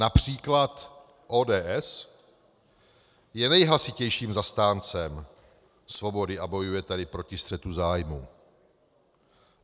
Například ODS je nejhlasitějším zastáncem svobody a bojuje tady proti střetu zájmu.